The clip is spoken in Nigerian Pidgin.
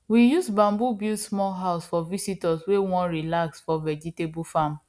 we use bamboo build small house for visitors wey wan relax for vegetable farm